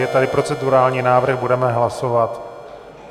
Je tady procedurální návrh, budeme hlasovat.